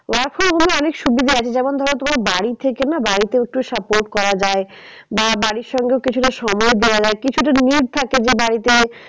Work from home এ অনেক সুবিধা আছে যেমন ধরো তোমার বাড়ি থেকে না বাড়িতে একটু support করা যায়। বা বাড়ির সঙ্গেও কিছুটা সময় দেওয়া যায় কিছুটা যে বাড়িতে